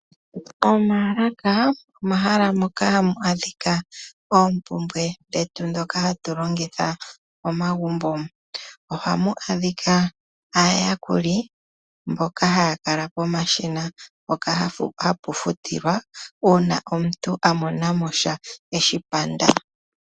Omaalaka omahala moka hamu monika oompumbwe dhetu dhoka hatu longitha momagumbo, ohamu adhika aayakuli mboka haya kala pomashina mpoka hapu futilwa uuna omuntu a monamo sha eshi panda.